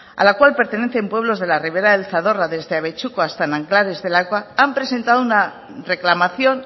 a la cual pertenecen pueblos de la ribera del zadorra desde abetxuko hasta nanclares de la oca han presentado una reclamación